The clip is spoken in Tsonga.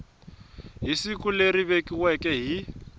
hi siku leri vekiweke hi